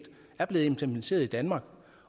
er blevet implementeret i danmark